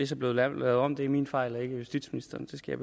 så blevet lavet om det er min fejl og ikke justitsministerens det skal